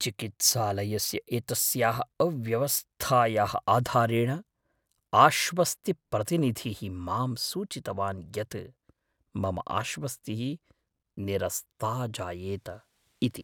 चिकित्सालयस्य एतस्याः अव्यवस्थायाः आधारेण आश्वस्तिप्रतिनिधिः मां सूचितवान् यत् मम आश्वस्तिः निरस्ता जायेत इति।